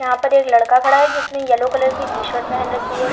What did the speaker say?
यहां पर एक लड़का खड़ा है जिसने येलो कलर की टी-शर्ट पहन रखी है।